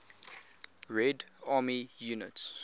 red army units